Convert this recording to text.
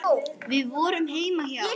Við vorum heima hjá